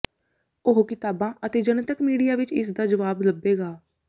ਉਹ ਕਿਤਾਬਾਂ ਅਤੇ ਜਨਤਕ ਮੀਡੀਆ ਵਿੱਚ ਇਸ ਦਾ ਜਵਾਬ ਲੱਭੇਗਾ